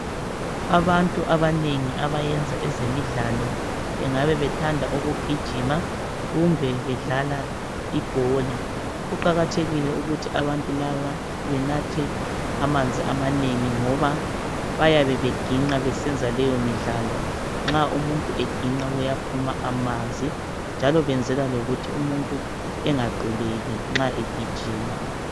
Abantu abanengi abayenza ezemidlalo, bengabe bethanda ukugijima. Kumbe bedlala ibhola. Kuqakathekile ukuthi abantu laba benathe amanzi amanengi, ngoba bayabe beginqa nxa besenza leyomidlalo. Umuntu nxa eginqa uphuma amanzi, njalo benzela ukuthi umuntu engaquleki nxa egijima.